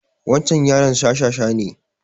Wancan yaron shashasha ne